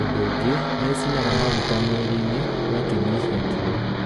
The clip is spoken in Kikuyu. ũndũ ũngĩ, nĩ ĩcinaga maguta mwĩrĩ-inĩ, ũgakĩnyihia kiro.